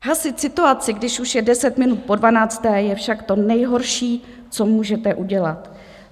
Hasit situaci, když už je deset minut po dvanácté, je však to nejhorší, co můžete udělat.